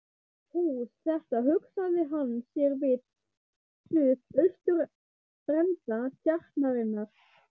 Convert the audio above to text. Hús þetta hugsaði hann sér við suð-austurenda Tjarnarinnar.